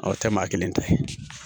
Awɔ o tɛ maa kelen ta ye